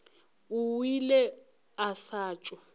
o ile a sa tšo